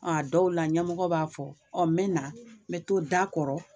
Ɔn dɔw la ɲɛmɔgɔ b'a fɔ ɔ n be na n be to da kɔrɔ